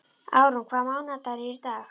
Árún, hvaða mánaðardagur er í dag?